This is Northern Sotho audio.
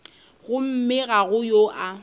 gomme ga go yo a